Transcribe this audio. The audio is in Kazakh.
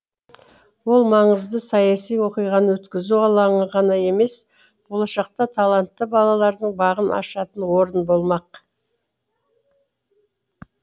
ол маңызды саяси оқиғаны өткізу алаңы ғана емес болашақта талантты балалардың бағын ашатын орын болмақ